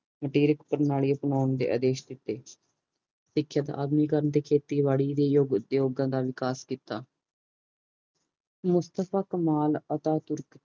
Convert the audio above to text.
ਅਪਣਾਉਣ ਦੇ ਆਦੇਸ਼ ਦਿਤੇ ਗਏ ਸਿੱਖਿਅਕ ਅਧੁਨਿਕਰਨ ਖੇਤੇਬਾੜੀ ਦੇ ਉਦਯੋਗਾਂ ਦਾ ਵਿਕਾਸ ਕੀਤਾ ਮੁਸਤਫਾ ਕਮਾਲ ਅਤਾਤੁਰਖ